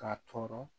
Ka tɔɔrɔ